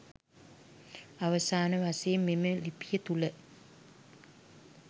අවසාන වශයෙන් මෙම ලිපිය තුළ